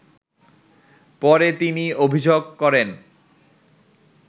পরে তিনি অভিযোগ করেন